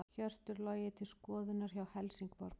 Hjörtur Logi til skoðunar hjá Helsingborg